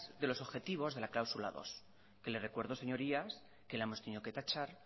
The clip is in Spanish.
de los objetivos de la cláusula dos que les recuerdo señorías que la hemos tenido que tachar